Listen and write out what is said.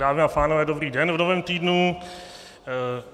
Dámy a pánové, dobrý den v novém týdnu.